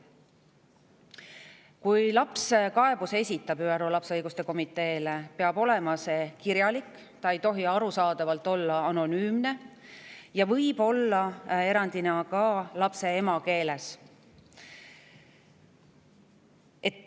Kui laps esitab kaebuse ÜRO lapse õiguste komiteele, peab see olema kirjalik, see ei tohi arusaadaval olla anonüümne.